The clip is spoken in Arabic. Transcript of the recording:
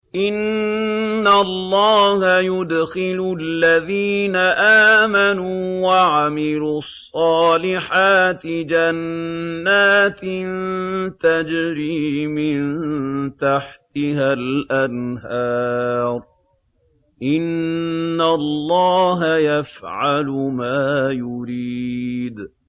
إِنَّ اللَّهَ يُدْخِلُ الَّذِينَ آمَنُوا وَعَمِلُوا الصَّالِحَاتِ جَنَّاتٍ تَجْرِي مِن تَحْتِهَا الْأَنْهَارُ ۚ إِنَّ اللَّهَ يَفْعَلُ مَا يُرِيدُ